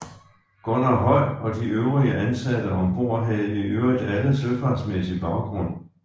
Gunnar Høi og de øvrige ansatte ombord havde i øvrigt alle søfartsmæssig baggrund